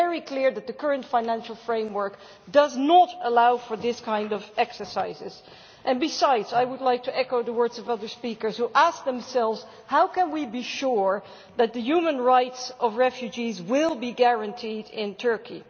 It is very clear that the current financial framework does not allow for these kinds of exercises. And besides, I would like to echo the words of other speakers who ask themselves how can we be sure that the human rights of refugees will be guaranteed in Turkey?